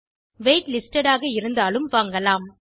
wait listedஆக இருந்தாலும் வாங்கலாம்